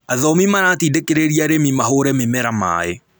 Athomi maratindĩkĩrĩria arĩmi mahũre mĩmera maaĩ